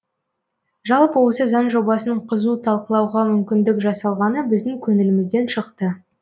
жалпы осы заң жобасын қызу талқылауға мүмкіндік жасалғаны біздің көңілімізден шықты